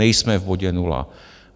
Nejsme v bodě nula.